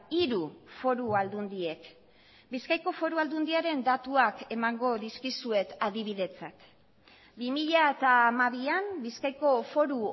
hiru foru aldundiek bizkaiko foru aldundiaren datuak emango dizkizuet adibidetzat bi mila hamabian bizkaiko foru